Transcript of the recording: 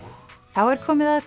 þá er komið að